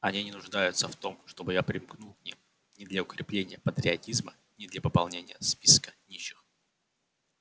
они не нуждаются в том чтобы я примкнул к ним ни для укрепления патриотизма ни для пополнения списка нищих